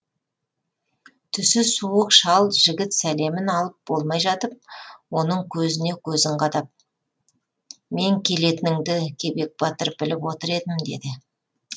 түсі суық шал жігіт сәлемін алып болмай жатып оның көзіне көзін қадап мен келетініңді кебек батыр біліп отыр едім деді